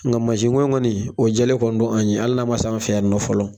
Ŋa masi ko in kɔni, o jɛlɛ kɔni don an' ye hali n'a ma s'an fɛ yan nɔ fɔlɔ.